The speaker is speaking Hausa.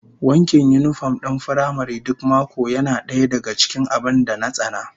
Wankin yinifom din firamare duk mako yana daya daga cikin abin da na tsana